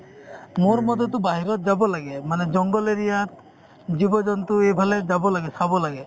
মোৰমতেতো বাহিৰত যাব লাগে মানে জংগল area ত জীৱ-জন্তু এইফালে যাব লাগে চাব লাগে